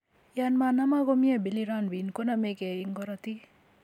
Yon manamak komnye bilirunbin, koname keey en korotik.